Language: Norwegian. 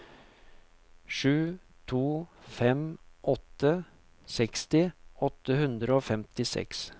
sju to fem åtte seksti åtte hundre og femtiseks